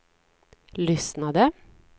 lyssnade